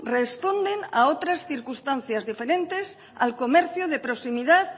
responden a otras circunstancias diferentes al comercio de proximidad